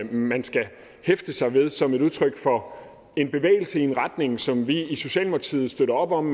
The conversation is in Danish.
man skal hæfte sig ved som et udtryk for en bevægelse i en retning som vi i socialdemokratiet støtter op om